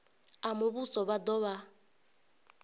a muvhuso vha do vha